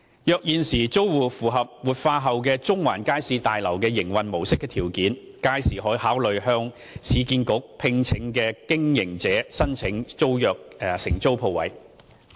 若現時租戶符合活化後的中環街市大樓營運模式的條件，屆時可考慮向市建局聘請的經營者申請承租商鋪。